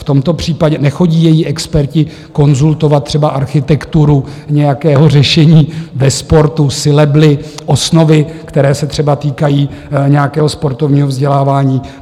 V tomto případě nechodí její experti konzultovat třeba architekturu nějakého řešení ve sportu, sylaby, osnovy, které se třeba týkají nějakého sportovního vzdělávání.